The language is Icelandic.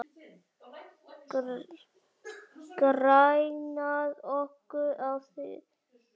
Grenjað okkur á þing?